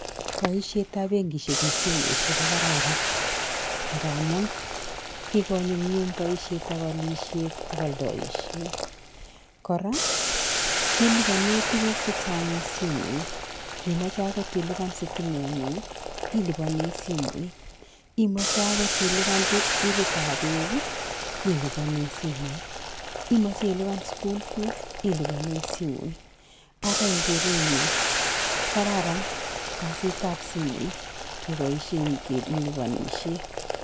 Poishetab benkisiek eng simoishek kokararan ngamuun kikonyumnyum boisietab alisiet ak aldoishet, kora kelipane tuguk chechang simoit, ngimache akot ilipan sitimengung ilpane simoit, imache akot ilipan bilitab beek ilipane simoit, omache akot ilipan school fees ilipane simoit. Ara eng kerenyun ko kararan kasitab simoit kepoishen kelipanishie.